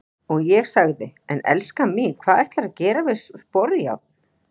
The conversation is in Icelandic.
Og ég sagði:- En elskan mín, hvað ætlarðu að gera við sporjárn?